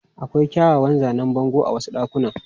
Akwai kyawawan zanen bango a wasu ɗakunan.